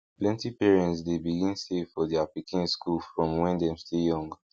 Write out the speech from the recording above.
plenty parents dey begin save for their pikin school from when dem still young